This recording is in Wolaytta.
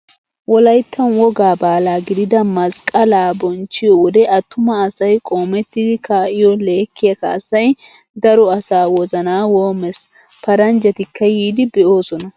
Wolyttan wogga baala gidida masqqalaa bonchchiyoo wode attuma asay qoomettidi kaa"iyoo lekkiyaa kaassay daro asaa wozanaa woommes. Paranjjatikka yiidi be'oosona.